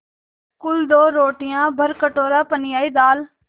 कुल दो रोटियाँ भरकटोरा पनियाई दाल